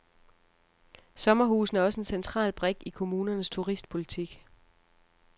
Sommerhusene er også en central brik i kommunernes turistpolitik.